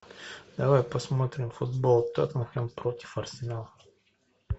давай посмотрим футбол теттенхэм против арсенала